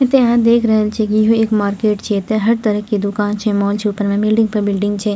एता आहां देख रहल छीये की इहो एक मार्केट छीये एता हर तरह के दोकान छै मॉल छै ऊपर पे बिल्डिंग पे बिल्डिंग छै।